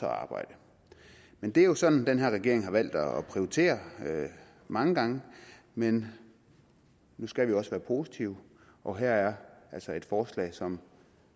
at arbejde men det er jo sådan den her regering har valgt at prioritere mange gange men nu skal vi også være positive og her er altså et forslag som